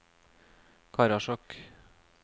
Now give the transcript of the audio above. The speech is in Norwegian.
Karasjok